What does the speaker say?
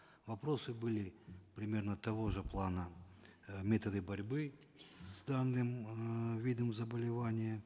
вопросы были примерно того же плана э методы борьбы с данным эээ видом заболевания